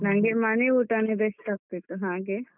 ನನ್ಗೆ ಮನೆಯೂಟನೆ best ಅಗ್ತಿತ್ತು ಹಾಗೆ.